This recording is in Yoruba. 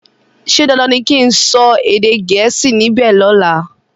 ṣe dandan ní kín sọ èdè Gẹ̀ẹ́sì níbè lola?